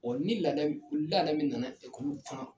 ni laada min ni laada min nana kan